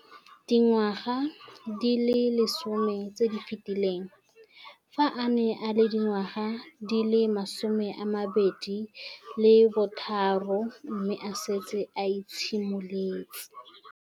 Dingwaga di le 10 tse di fetileng, fa a ne a le dingwaga di le 23 mme a setse a itshimoletse